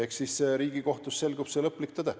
Eks Riigikohtus selgub see lõplik tõde.